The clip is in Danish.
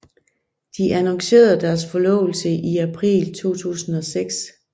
De annoncerede deres forlovelse i april 2006